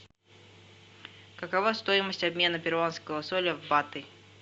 какова стоимость обмена перуанского соля в баты